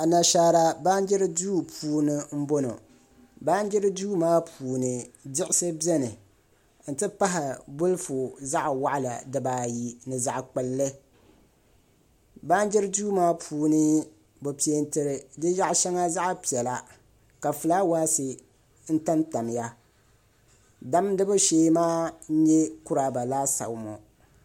Anashaara baanjiri duu puuni n bɔŋɔ baanjiri duu maa puuni diɣisi biɛni n ti pahi bolfu zaɣ waɣala dibaayi ni zaɣ kpulli baanjiri duu maa puuni bi peenti di yaɣa shɛŋa zaɣ piɛla ka fulaawaasi tamtamya damdibu shee maa n nyɛ kuraaba laasabu ŋɔ